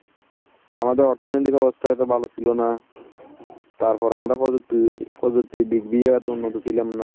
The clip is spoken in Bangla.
আমাদের অর্থনীতি ব্যবস্থা এত ভালো ছিল না। তার পর আমরা প্রযুক্তি প্রযুক্তির দিক দিয়ে এত উন্নত ছিলাম না।